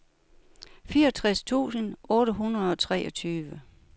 fireogtredive tusind otte hundrede og treogtyve